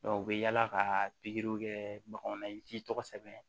u bɛ yaala ka pikiriw kɛ baganw na i k'i tɔgɔ sɛbɛn